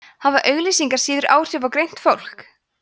hafa auglýsingar síður áhrif á greint fólk